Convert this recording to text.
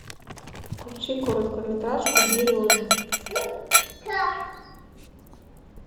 включи короткометражку береза